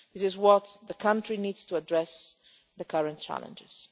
This is what the country needs in order to address the current challenges.